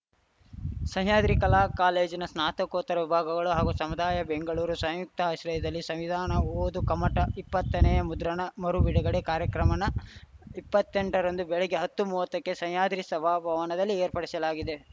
ಸಹ್ಯಾದ್ರಿ ಕಲಾ ಕಾಲೇಜಿನ ಸ್ನಾತಕೋತ್ತರ ವಿಭಾಗಳು ಹಾಗೂ ಸಮುದಾಯ ಬೆಂಗಳೂರು ಸಂಯುಕ್ತಾಶ್ರದಲ್ಲಿ ಸಂವಿಧಾನ ಓದು ಕಮ್ಮಟ ಇಪ್ಪತ್ತ ನೇ ಯ ಮುದ್ರಣ ಮರು ಬಿಡುಗಡೆ ಕಾರ್ಯಕ್ರಮ ನಇಪ್ಪತ್ತೆಂಟರಂದು ಬೆಳಗ್ಗೆ ಹತ್ತು ಮೂವತ್ತಕ್ಕೆ ಸಹ್ಯಾದ್ರಿ ಶಭಾ ಭವನದಲ್ಲಿ ಏರ್ಪಡಿಶಲಾಗಿದೆ